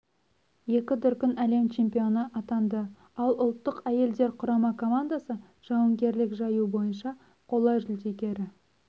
екі дүркін әлем чемпионы атанды ал ұлттық әйелдер құрама командасы жауынгерлік жаю бойынша қола жүлдегері